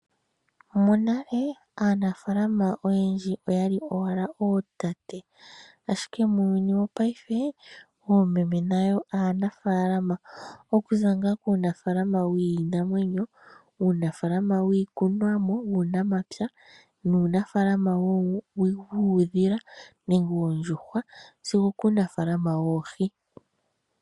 Monale aanafalama oyendji oyali owala ootate ashike muuyuni wopaife oomeme nayo aanafalama, okuza ngaa kuunafalama wiinamwenyo, uunafalama wuunamapya nuunafalama wiikwaamawawa oshowo uunafalama woohi.